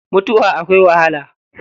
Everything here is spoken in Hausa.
Mutuwa akwai wahala.